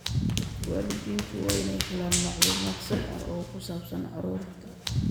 Waalidiintu waa inay helaan macluumaad sax ah oo ku saabsan carruurta.